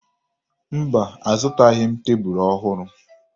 Mba, azụtaghị m tebulu ọhụrụ